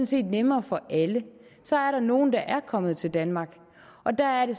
set nemmere for alle så er der nogle der er kommet til danmark og der er det